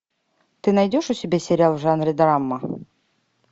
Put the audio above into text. ты найдешь у себя сериал в жанре драма